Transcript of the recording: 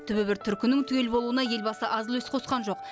түбі бір түркінің түгел болуына елбасы аз үлес қосқан жоқ